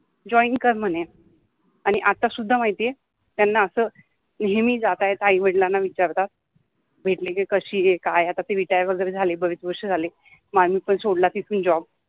join कर म्हने आणी आता सुद्धा माहिति आहे त्याना अस नेहमि जाता येता आई वडीलाना विचारतात भेटले कि कशि आहे काय आहे, आता ते रिटायर वगेरे झाले, बरिच वर्ष झाले, मि पन सोडला तिथिन जॉब